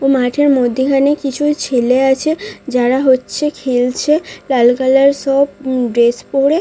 ও মাঠের মধ্যিখানে কিছু ছেলে আছে যারা হচ্ছে খেলছে লাল কালার সব উ ড্রেস পরে।